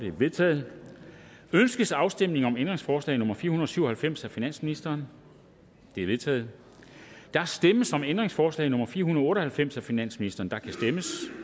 er vedtaget ønskes afstemning om ændringsforslag nummer fire hundrede og syv og halvfems af finansministeren det er vedtaget der stemmes om ændringsforslag nummer fire hundrede og halvfems af finansministeren